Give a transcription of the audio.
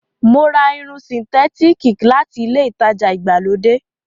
Mo ra Irun sìǹtétííkì láti ilé-ìtajà ìgbàlódé.